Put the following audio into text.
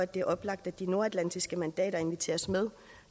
det er oplagt at de nordatlantiske mandater inviteres med